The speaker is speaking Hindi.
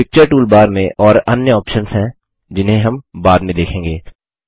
पिक्चर टूलबार में और अन्य ऑप्शन्स हैं जिन्हें हम बाद में देखेंगे